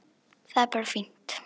Það er bara fínt.